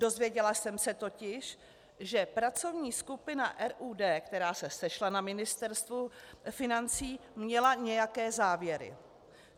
Dozvěděla jsem se totiž, že pracovní skupina RUD, která se sešla na Ministerstvu financí, měla nějaké závěry.